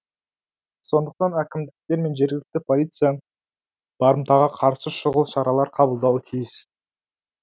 сондықтан әкімдіктер мен жергілікті полиция барымтаға қарсы шұғыл шаралар қабылдауы тиіс